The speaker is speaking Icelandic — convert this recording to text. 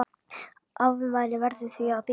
Afmælið verður því að bíða.